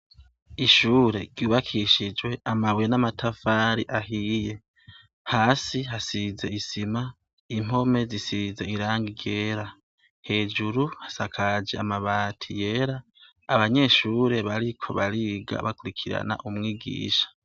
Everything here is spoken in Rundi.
Ishure ryubakishijwe amabuye n'amatafari ahiye, hasi hasize isima, impome zisize irangi ryera, hejuru hasakaje amabati yera abanyeshure bariko bariga bakurikirana umwigisha.